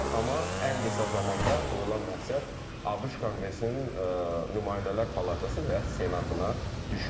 Amma ən qısa zamanda qoyulan məqsəd ABŞ Konqresinin Nümayəndələr Palatası və Senatına düşməkdir.